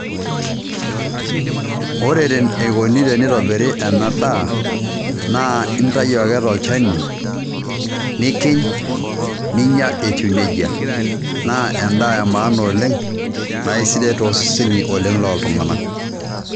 Ore eneikuni teneitobiri ena daa, naa intau ake tolchani nikiny' ninya eitiu neijia naa endaa emaana oleng' naa aisidai oleng' too seseni looltunganak.